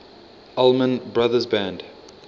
allman brothers band